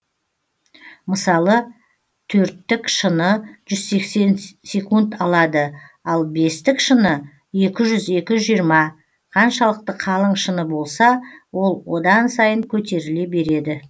мысалы төрттік шыны жүз сексен секунд алады бестік шыны екі жүз екі жүз жиырма қаншалықты қалың шыны болса ол одан сайын көтеріле береді